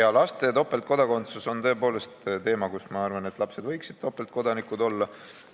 Jaa, laste topeltkodakondsus on tõepoolest teema, mille puhul ma arvan, et lapsed võiksid topeltkodanikud olla.